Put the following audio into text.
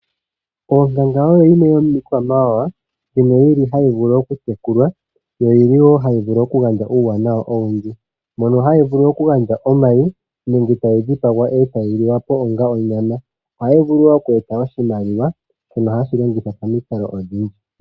Onkanga oyo yimwe yomiikwamawawa mbyono hayi vulu okutekulwa, ohayi gandja uuwanawa owundji. Ohayi gandja omayi nenge tayi dhipagwa e tayi liwa po onga onyama. Ohayi vulu woo okweeta oshimaliwa shoka hashi longithwa momikalo odhindji.